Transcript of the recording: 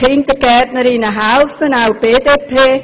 Auch die BDP hat das gesagt.